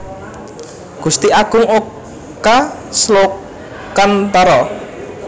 Gusti Agung Oka Slokantara